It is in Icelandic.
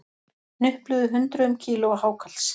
Hnupluðu hundruðum kílóa hákarls